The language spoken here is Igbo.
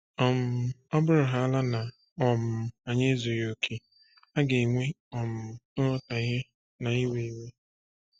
um Ọ bụrụhaala na um anyị ezughị okè, a ga-enwe um nghọtahie na iwe iwe.